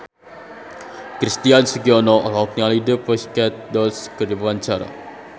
Christian Sugiono olohok ningali The Pussycat Dolls keur diwawancara